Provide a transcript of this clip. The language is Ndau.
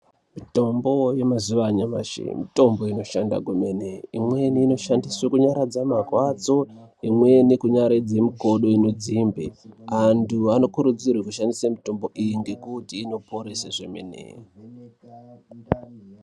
Mitombo yemazuwa anyamashi mitombo inoshanda kwemene. Imweni inoshandiswa kunyaradza marwadzo, imweni kunyaradze mikodo inodziyembe. Antu anokurudzirwa kushandisa mitombo iyi ngekuti inoporese zvemene.